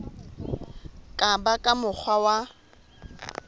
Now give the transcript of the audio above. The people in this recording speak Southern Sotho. ka ba ka mokgwa wa